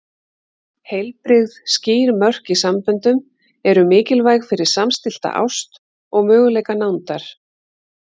Heilbrigð, skýr mörk í samböndum eru mikilvæg fyrir samstillta ást og möguleika nándar.